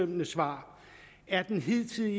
minister